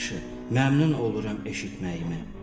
Nə yaxşı, məmnun oluram eşitməyimə.